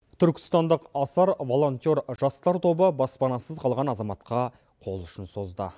түркістандық асар волонтер жастар тобы баспанасыз қалған азаматқа қол ұшын созды